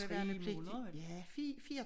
3 måneder